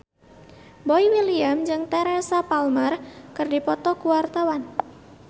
Boy William jeung Teresa Palmer keur dipoto ku wartawan